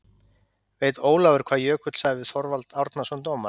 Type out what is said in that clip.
Veit Ólafur hvað Jökull sagði við Þorvald Árnason dómara?